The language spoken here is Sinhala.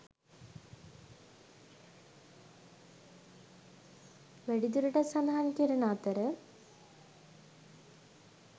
වැඩි දුරටත් සඳහන් කරන අතර.